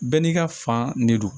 Bɛɛ n'i ka fan ne don